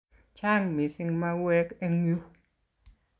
Chang' missing' mauwek eng' yu